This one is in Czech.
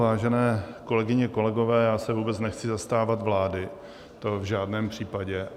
Vážené kolegyně, kolegové, já se vůbec nechci zastávat vlády, to v žádném případě.